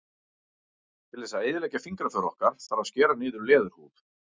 Til þess að eyðileggja fingraför okkar þarf að skera niður í leðurhúð.